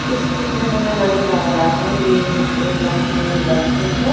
इस पिक में हमें नजर आ रहा है ये अ दो बंदे बैठे हैं।